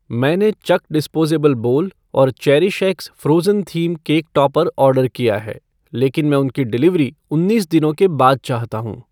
मैंने Chuk disposable bowl और Cherish X Frozen theme cake topper order किया है, लेकिन मैं उनकी डिलीवरी उन्नीस दिनों के बाद चाहता हूँ